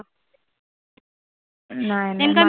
नाय नाय